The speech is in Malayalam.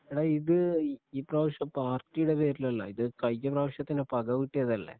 എടാ ഇത് ഈ പ്രാവശ്യം പാർട്ടിയുടെ പേരിലല്ല ഇത് കഴിഞ്ഞ പ്രാവശ്യത്തേന് പക വീട്ടിയതല്ലേ